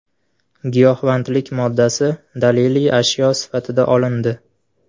Giyohvandlik moddasi daliliy ashyo sifatida olindi.